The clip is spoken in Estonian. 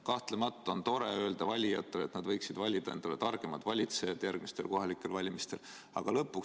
Kahtlemata on tore öelda valijatele, et nad võiksid valida endale järgmistel kohalikel valimistel targemad valitsejad.